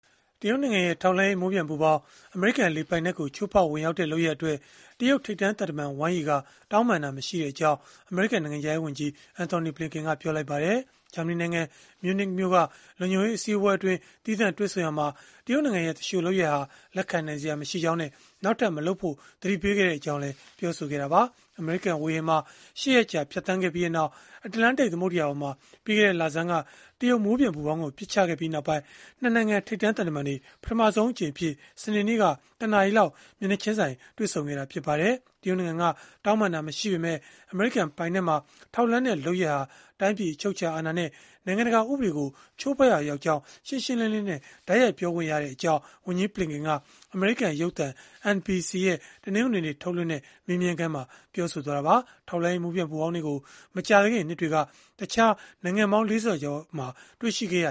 တရုတ်နိုင်ငံရဲ့ ထောက်လှမ်းရေးမိုးပျံပူဖောင်း အမေရိကန်လေပိုင်နက်ကို ချိုးဖောက်ဝင်ရောက်ခဲ့တဲ့လုပ်ရပ်အတွက် တရုတ်ထိပ်တန်းသံတမန် Wang Yi က တောင်းပန်တာမရှိခဲ့ကြောင်း အမေရိကန်နိုင်ငံခြားရေးဝန်ကြီး Antony Blinken ကပြောလိုက်ပါတယ်။ ဂျာမနီနိုင်ငံ မြူးနစ်မြို့က လုံခြုံရေးအစည်းအဝေးအတွင်း သီးသန့်တွေ့ဆုံရာမှာ တရုတ်နိုင်ငံရဲ့ သူလျှိုလုပ်ရပ်ဟာ လက်ခံနိုင်စရာမရှိကြောင်းနဲ့ နောက်ထပ်မလုပ်ဖို့ သတိပေးခဲ့ကြောင်းလည်း ပြောဆိုခဲ့တာပါ။ အမေရိကန် ဝေဟင်မှာ ၈ ရက်ကြာ ဖြတ်သန်းခဲ့ပြီးနောက် အတ္တလန်တိတ်သမုဒ္ဒရာပေါ်မှာ ပြီးခဲ့တဲ့လဆန်းက တရုတ်မိုးပျံပူဖောင်းကို ပစ်ချခဲ့ပြီးနောက်ပိုင်း ၂ နိုင်ငံ ထိပ်တန်းသံတမန်တွေ ပထမဆုံးအကြိမ်အဖြစ် စနေနေ့က ၁ နာရီလောက် မျက်နှာချင်းဆိုင် တွေ့ဆုံခဲ့တာ ဖြစ်ပါတယ်။ တရုတ်နိုင်ငံက တောင်းပန်တာမရှိခဲ့ပေမဲ့ အမေရိကန်ပိုင်နက်မှာ ထောက်လှမ်းတဲ့ လုပ်ရပ်ဟာ တိုင်းပြည်အချုပ်အခြာအာဏာနဲ့ နိုင်ငံတကာဥပဒေကို ချိုးဖောက်ရာရောက်ကြောင်း ရှင်းရှင်းလင်းလင်းနဲ့ တိုက်ရိုက် ပြောခွင့်ရခဲ့ကြောင်း ဝန်ကြီးဘလင်ကန်က အမေရိကန်ရုပ်သံ NBC ရဲ့ တနင်္ဂနွေနေ့မှာ ထုတ်လွှင့်ခဲ့တဲ့ မေးမြန်းခန်းမှာ ပြောဆိုခဲ့တာပါ။ ထောက်လှမ်းရေး မိုးပျံပူဖောင်းတွေကို မကြာသေးခင်နှစ်တွေက တခြားနိုင်ငံပေါင်း ၄၀ ကျော်မှာ တွေ့ရှိခဲ့ရ